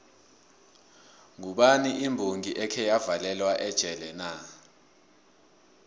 ngubani imbongi ekheya valelwa ejele na